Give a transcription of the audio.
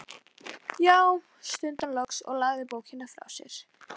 Já, stundi hann loks og lagði bókina frá sér.